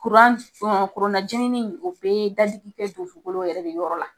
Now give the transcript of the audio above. Kuran, kronanjirinin o bɛ dadigi kɛ dusukolo yɛrɛ de yɔrɔ la.